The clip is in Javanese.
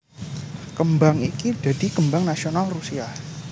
Kembang iki dadi kembang nasional Rusia